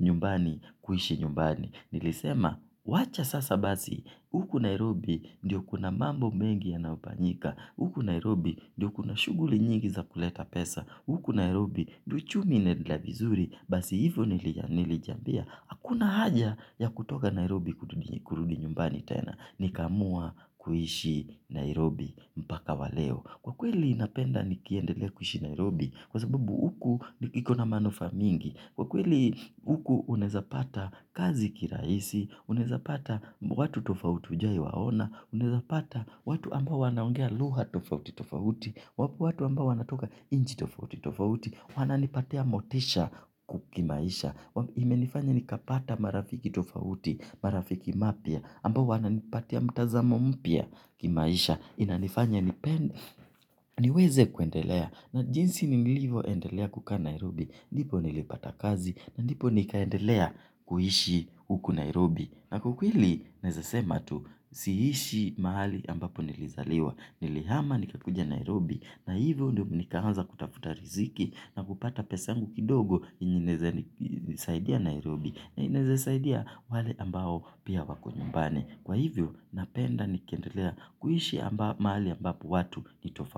nyumbani kuishi nyumbani. Nilisema, wacha sasa basi, huku Nairobi ndiyo kuna mambo mengi yanayofanyika. Huku Nairobi ndiyo kuna shuguli nyingi za kuleta pesa. Huku Nairobi ndiyo chumi inaendelea vizuri. Basi hivyo nilijiambia hakuna haja ya kutoka Nairobi kurudi nyumbani tena. Nikaamua kuishi Nairobi mpaka wa leo. Kwa kweli napenda nikiendelea kuishi Nairobi. Kwa sababu huku iko na manufa mingi kwa kweli huku unawezapata kazi kirahisi, unawezapata watu tofauti hujawahiwaona, unaweza pata watu ambao wanaongea lugha tofautitofauti, wapo watu ambao wanatoka nchi tofautitofauti, wananipatia motisha kimaisha. Imenifanya nikapata marafiki tofauti, marafiki mapya. Ambao wanapatia mtazamo mpya kimaisha. Inanifanya niweze kuendelea na jinsi nilvyoendelea kukaa Nairobi ndipo nilipata kazi na ndio niliendelea kuishi huku Nairobi. Na kwa kweli nawezesema tu siishi mahali ambapo nilizaliwa. Nilihama nikakuja Nairobi na hivyo ndio nikaanza kutafuta riziki na kupata pesa yangu kidogo inaweza nisaidia Nairobi na inaweza nisaidia wale ambao pia wako nyumbani. Kwa hivyo napenda nikiendlea kuishi hapa mahali ambapo watu ni tofauti.